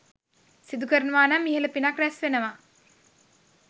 සිදු කරනවානම් ඉහළ පිනක් රැස්වෙනවා.